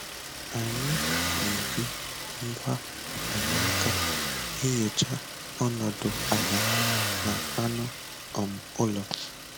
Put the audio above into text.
Anyị ná-eji ngwa mkpanaka enyocha ọnọdụ ala na anụ um ụlọ.